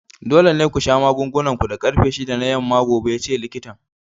Dole ne ku sha magungunan ku da karfe shida na yamma gobe! yace likitan.